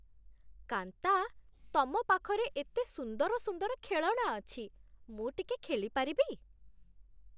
କାନ୍ତା, ତମ ପାଖରେ ଏତେ ସୁନ୍ଦର ସୁନ୍ଦର ଖେଳଣା ଅଛି । ମୁଁ ଟିକେ ଖେଳିପାରିବି?